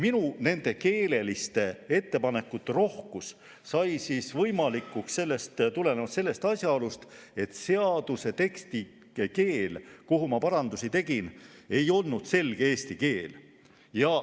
Minu tehtud keeleliste ettepanekute rohkus sai võimalikuks tulenevalt sellest asjaolust, et seaduse tekst, kuhu ma parandusi tegin, ei olnud selges eesti keeles.